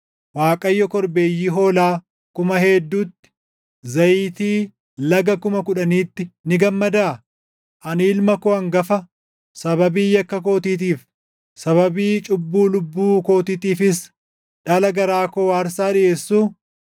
Waaqayyo korbeeyyii hoolaa kuma hedduutti, zayitii laga kuma kudhaniitti ni gammadaa? Ani ilma koo hangafa, sababii yakka kootiitiif, sababii cubbuu lubbuu kootiitiifis dhala garaa koo aarsaa dhiʼeessuu?